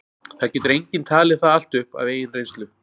það getur enginn talið það allt upp af eigin reynslu